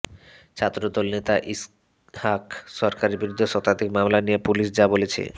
ছাত্রদল নেতা ইসহাক সরকারের বিরুদ্ধে শতাধিক মামলা নিয়ে পুলিশ যা বলছে